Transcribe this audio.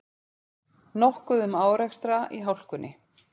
Nokkuð um árekstra í hálkunni